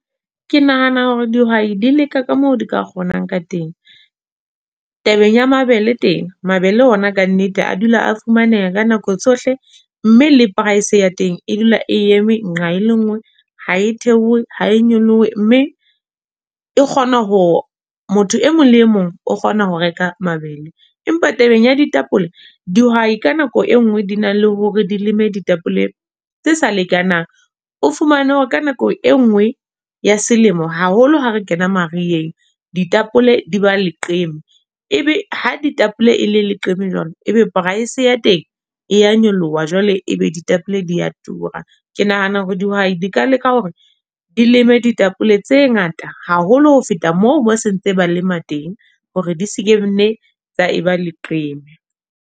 Ke nahana hore dihwai di leka ka moo di ka kgonang ka teng. Tabeng ya mabele teng, mabele ona ka nnete a dula a fumaneha ka nako tsohle. Mme le price ya teng e dula e eme nqa e le nngwe. Ha e theohe ha e nyolohe, mme e kgona hore motho e mong le e mong o kgona ho reka mabele. Empa tabeng ya ditapole, dihwai ka nako e nngwe di nang le hore di leme ditapole tse sa lekanang. O fumane hore ka nako e nngwe ya selemo haholo ha re kena mariheng, ditapole di ba leqeme. Ebe ha ditapole e le leqeme jwalo ebe price ya teng e ya nyoloha, jwale ebe ditapole di ya a tura. Ke nahana hore dihwai di ka leka hore di leme ditapole tse ngata haholo. Ho feta moo, moo se ntse ba lema teng hore di se ke nne tsa eba leqeme.